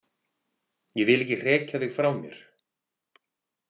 Ég vil ekki hrekja þig frá mér.